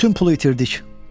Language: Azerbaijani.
Bütün pulu itirdik.